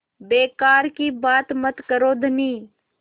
बेकार की बात मत करो धनी